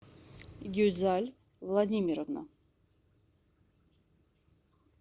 гюзаль владимировна